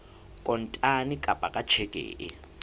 kontane kapa ka tjheke e